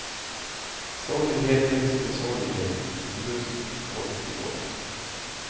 Sorglighet läggs till sorglighet, förlust och grått i grått.